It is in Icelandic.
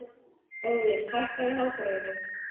Óðinn, hækkaðu í hátalaranum.